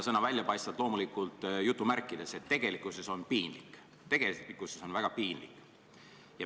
Sõna "väljapaistvat" oli loomulikult jutumärkides, tegelikkuses on piinlik, tegelikkuses on väga piinlik.